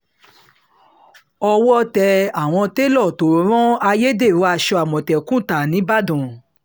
owó tẹ àwọn tẹ́lò tó ń rán ayédèrú aṣọ àmọ̀tẹ́kùn ta nìbàdàn